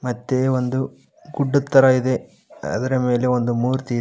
ಮತ್ತೆ ಒಂದು ಗುಡ್ಡದ್ ತರ ಇದೆ ಅದರ ಮೇಲೆ ಒಂದು ಮೂರ್ತಿ ಇದೆ.